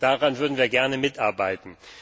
Daran würden wir gerne mitarbeiten.